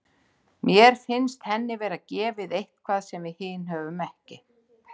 Mér finnst henni vera gefið eitthvað sem við hin höfum ekki.